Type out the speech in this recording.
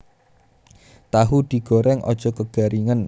Tahu digoreng aja kegaringen